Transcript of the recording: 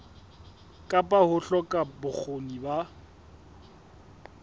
kapa ho hloka bokgoni ba